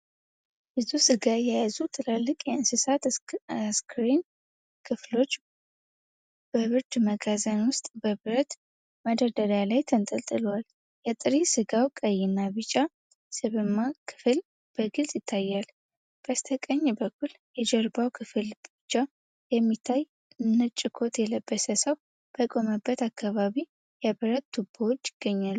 ብዙ ሥጋ የያዙ ትላልቅ የእንስሳት አስከሬን ክፍሎች በብርድ መጋዘን ውስጥ በብረት መደርደሪያ ላይ ተንጠልጥለዋል። የጥሬ ሥጋው ቀይና ቢጫ ስብማ ክፍል በግልጽ ይታያል። በስተቀኝ በኩል የጀርባው ክፍል ብቻ የሚታይ ነጭ ኮት የለበሰ ሰው በቆመበት አካባቢ፣ የብረት ቱቦዎች ይገኛሉ።